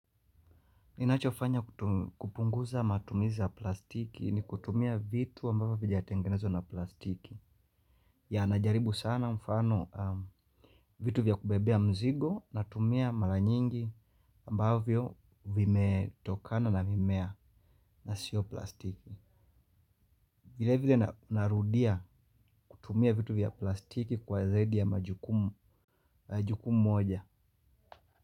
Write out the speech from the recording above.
Ninachofanya kupunguza matumiza plastiki ni kutumia vitu ambavyo vijatengenezwa na plastiki. Ya najaribu sana mfano vitu vya kubebea mzigo natumia mara nyingi ambavyo vimetokana na mimea na sio plastiki. Vile vile narudia kutumia vitu vya plastiki kwa zaidi ya majukumu moja.